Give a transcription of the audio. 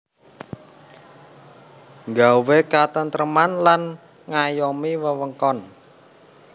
Nggawé katêntrêman lan ngayomi wewengkon